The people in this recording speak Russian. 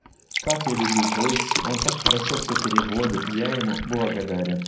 как я люблю войси он так хорошо все переводит я ему благодарен